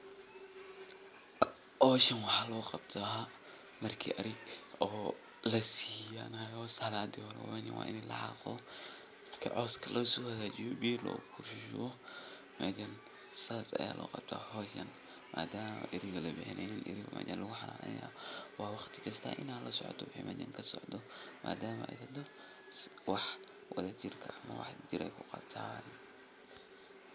Hawshan waxay muhiim weyn ugu leedahay bulshada dhexdeeda sababtoo ah waxay kor u qaadaysaa nolol wadajir ah oo bulshada dhexdeeda ka hanaqaada. Marka nin haan ag taagan la tuso, waxa uu tilmaamayaa in uu ka qayb qaadanayo howlo muhiim u ah deegaanka sida uruurinta biyaha, ilaalinta nadaafadda, ama xataa hawlo dhaqan oo dhaqaalaha bulshada horumariya. Ninkaasi wuxuu astaan u yahay dadaal iyo is xilqaamid uu muwaadin u sameeyo bulshadiisa si loo gaaro nolol wanaagsan